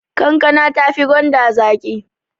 Kankana tafi gwanda zaƙi